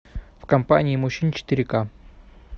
в компании мужчин четыре ка